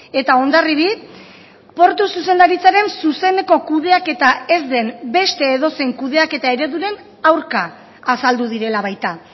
eta hondarribi portu zuzendaritzaren zuzeneko kudeaketa ez den beste edozein kudeaketa ereduren aurka azaldu direla baita